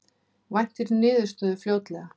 Væntir niðurstöðu fljótlega